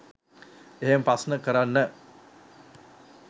එහෙම ප්‍රශ්න කරන්න.